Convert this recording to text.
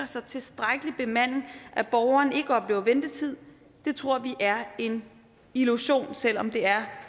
så tilstrækkelig bemanding at beboeren ikke oplever ventetid tror vi er en illusion selv om det er